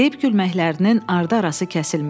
Deyib-gülməklərinin ardı-arası kəsilmirdi.